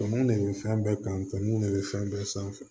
Tɔn de bɛ fɛn bɛɛ kanu ne bɛ fɛn bɛɛ sanfɛ